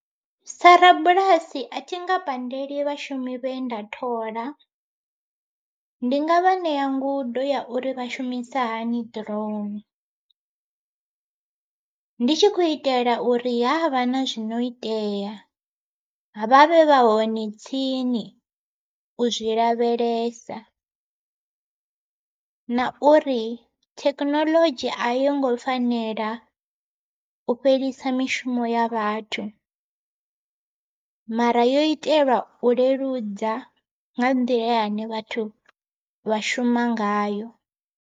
Sa rabulasi a thi nga pandeli vhashumi vhe nda thola, ndi nga vha ṋea ngudo ya uri vha shumisa hani drone. Ndi tshi khou itela uri havha na zwino itea, vha vhe vha hone tsini u zwi lavhelesa, na uri thekinoḽodzhi a yo ngo fanela u fhelisa mishumo ya vhathu. Mara yo itelwa u leludza nga nḓila yane vhathu vha shuma ngayo.